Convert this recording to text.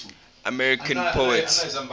american poets